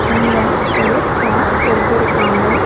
இங்க ஒரு சேர் போட்டிருக்காங்க.